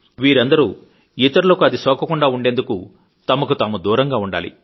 వీరందరూ ఇతరులకు అది సోకకుండా ఉండేందుకు తమకుతాము దూరంగా ఉండాలి